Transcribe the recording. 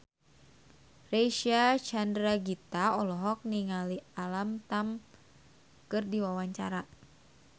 Reysa Chandragitta olohok ningali Alam Tam keur diwawancara